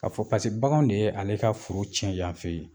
K'a fɔ paseke baganw de ye ale ka foro tiɲɛn yan fɛ yen.